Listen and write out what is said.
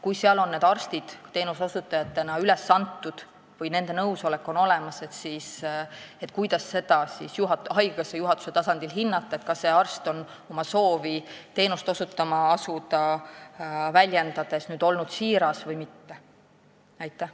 Kui seal on arstid teenuse osutajatena üles antud või nende nõusolek on olemas, siis kuidas haigekassa juhatuse tasandil hinnata, kas nad on siirad või mitte, väljendades oma soovi asuda seda teenust osutama?